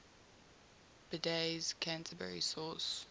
bede's canterbury source